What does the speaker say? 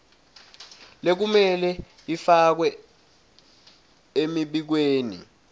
lekumele ifakwe emibikweni